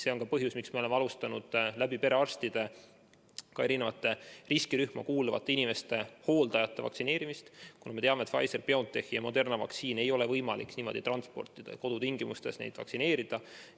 See on ka põhjus, miks me oleme alustanud eri riskirühma kuuluvate inimeste ja hooldajate vaktsineerimist perearstide kaudu – me teame, et Pfizer-BioNTechi ja Moderna vaktsiini ei ole võimalik niimoodi transportida, et kodutingimustes vaktsineerida.